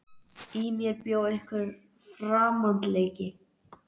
Í mér bjó líka einhver framandleiki.